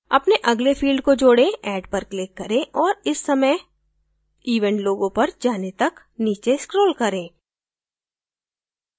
अपने अगले field को जोड़ें add पर click करें और इस समय event logo पर जाने तक नीचे scroll करें